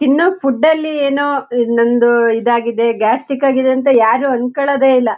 ತಿನ್ನೋ ಫುಡ್ ಲಿ ಏನೋ ನಮ್ದು ಇದಾಗಿದೆ ಗ್ಯಾಸ್ಟ್ರಿಕ್ ಆಗಿದೆ ಅಂತ ಯಾರು ಅಂಕೋಳದೆ ಇಲ್ಲ.